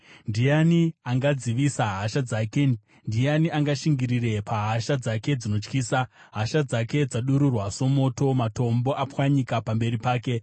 Ndiani angadzivisa hasha dzake? Ndiani angashingirire pahasha dzake dzinotyisa? Hasha dzake dzadururwa somoto; matombo apwanyika pamberi pake.